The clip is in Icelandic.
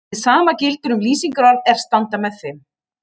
Hið sama gildir um lýsingarorð er standa með þeim.